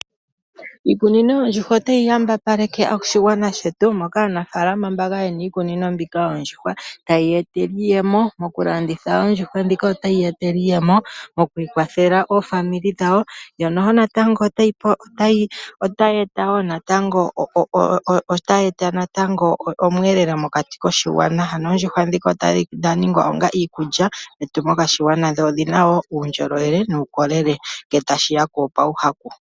Iikunino yoondjuhwa otayi yambapaleke oshigwana shetu, mpoka aanafaalama mbaka yena iikunino mbika yoondjuhwa tayi ya etele iiyemo . Mokulanditha oondjuhwa dhika otayi ya etela iiyemo, mo kwiikwathela oofamili dhawo ,yo noho natango otayi eta woo natango omweelelo mokati koshigwana . Ano oondjuhwa dhika odha ningwa onga iikulya yetu yaakwashigwana dho odhina uundjolowele nuukolele nge ta shiya pawu haku.